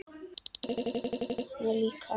Augu hans dökkna líka.